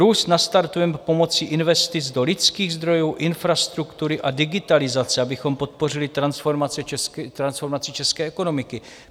"Růst nastartujeme pomocí investic do lidských zdrojů, infrastruktury a digitalizace, abychom podpořili transformaci české ekonomiky."